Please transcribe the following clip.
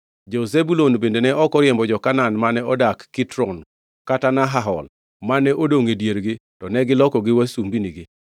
Jo-Zebulun bende ne ok oriembo jo-Kanaan mane odak Kitron kata Nahahol, mane odongʼ e diergi; to ne gilokogi wasumbinigi.